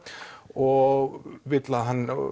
og vill að hann